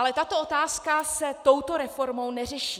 Ale tato otázka se touto reformou neřeší.